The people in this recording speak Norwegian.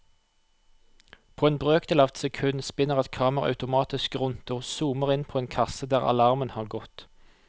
På en brøkdel av et sekund spinner et kamera automatisk rundt og zoomer inn på en kasse der alarmen har gått.